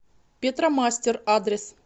петромастер адрес